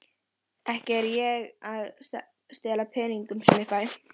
Ekki er ég að stela peningunum sem ég fæ.